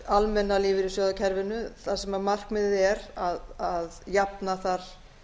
almenna lífeyrissjóðakerfinu þar sem markmiðið er að jafna þar